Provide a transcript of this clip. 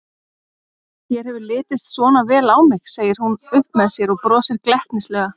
Þér hefur litist svona vel á mig, segir hún upp með sér og brosir glettnislega.